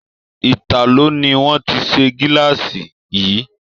Italo ni wón ti se gilaasi yìí.